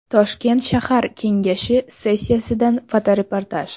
Toshkent shahar kengashi sessiyasidan fotoreportaj.